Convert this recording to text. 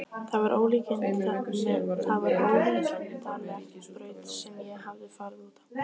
Það var ólíkindaleg braut sem ég hafði farið út á.